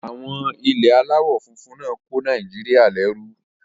Àwọn ilẹ̀ aláwọ̀ funfun náà kó Nàìjíríyà lẹ́rú